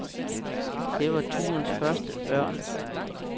Det var turens første ørn.